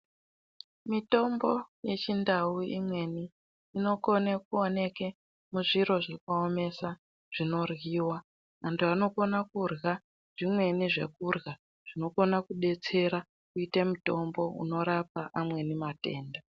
Mitombo yechi ndau imweni ino kone kuoneke muzviro zvino omesa zvino dyiwa antu ano kona kudya zvimweni zvekudya zvino kona ku betsera kuite mitombo uno rapa amweni matenda.